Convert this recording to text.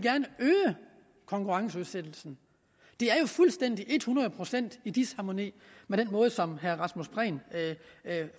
øge konkurrenceudsættelsen det er jo fuldstændig et hundrede procent i disharmoni med den måde som herre rasmus prehn